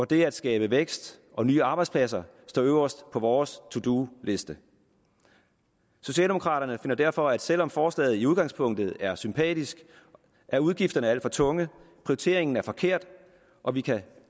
det at skabe vækst og nye arbejdspladser står øverst på vores to do liste socialdemokraterne finder derfor at selv om forslaget i udgangspunktet er sympatisk er udgifterne alt for tunge prioriteringen er forkert og vi kan